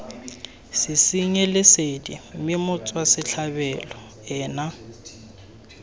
sesenyi lesedi mme motswasetlhabelo ena